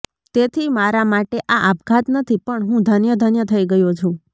તેથી મારા માટે આ આપઘાત નથી પણ હું ધન્ય ધન્ય થઈ ગયો છું